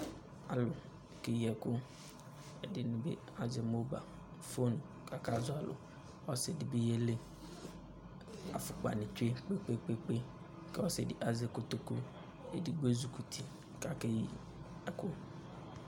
Alʋ keyi ɛkʋ Ɛdɩnɩ bɩ azɛ moba, fon kʋ akazɔ alʋ Ɔsɩ dɩ bɩ yeli Afʋkpanɩ tsue kpe-kpe-kpe kʋ ɔsɩ dɩ azɛ kotoku Edigbo ezikuti kʋ akeyi ɛkʋ